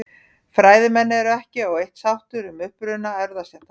Fræðimenn eru ekki á eitt sáttir um uppruna erfðastéttanna.